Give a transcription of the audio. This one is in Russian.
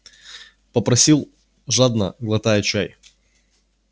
попросил жадно глотая чай